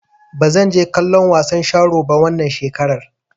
Ba zan je kallon wasan sharo ba wannan shekarar.